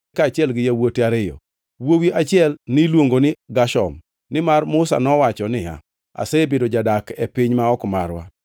kaachiel gi yawuote ariyo. Wuowi achiel niluongo ni Gershom nimar Musa nowacho niya, “Asebedo jadak e piny ma ok marwa,”